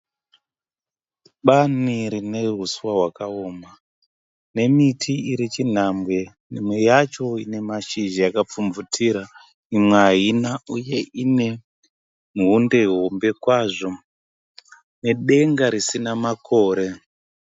Bani rine huswa hwakaoma nemiti iri chinhambwe imwe yacho ine mashizha yakapfumvutira imwe haina uye ine muhombe hombe kwazvo nedenga risina makore.